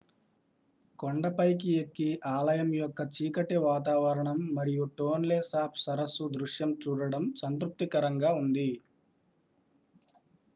కొండపైకి ఎక్కి ఆలయం యొక్క చీకటి వాతావరణం మరియు టోన్లే సాప్ సరస్సు దృశ్యం చూడటం సంతృప్తికరంగా ఉంది